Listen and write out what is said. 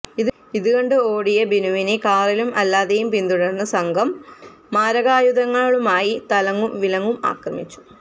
ഇതു കണ്ട് ഓടിയ ബിനുവിനെ കാറിലും അല്ലാതെയും പിന്തുടർന്ന സംഘം മാരകായുധങ്ങളുമായി തലങ്ങും വിലങ്ങും ആക്രമിച്ചു